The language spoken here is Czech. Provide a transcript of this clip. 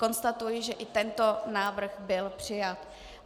Konstatuji, že i tento návrh byl přijat.